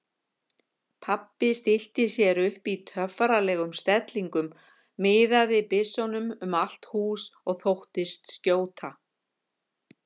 Pabbi stillti sér upp í töffaralegum stellingum, miðaði byssunum um allt hús og þóttist skjóta.